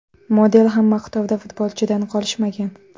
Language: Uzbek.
Model ham maqtovda futbolchidan qolishmagan.